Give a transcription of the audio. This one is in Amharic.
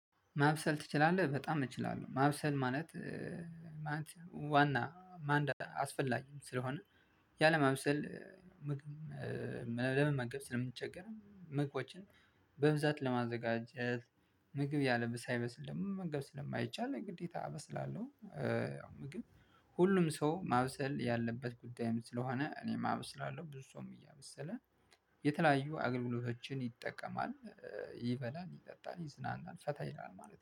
ማብሰል ትችላለህ በጣም እችላለሁ ማብሰል ማለት ዋና ማን አስፈላጊም ስለሆነ ያለም አብሰል ለመመገብ ስለምንቸገር ምግቦችን በብዛት ለማዘጋጀት ምግብ ያለብህ ሳይበስል ደግሞ መመገብ ስለማይቻል ግዴታ አበስላለሁ። ያው ምግብ ሁሉም ሰው ማብሰል ያለበት ጉዳይም ስለሆነ እኔም አብስላለሁ። ብዙ ሰውም እያበሰለ የተለያዩ አገልግሎቶችን ይጠቀማል። ይበላል ይጠጣል ይዝናናል ፈታ ይላል ማለት ነው